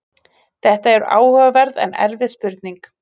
Þetta er áhugaverð en erfið spurning.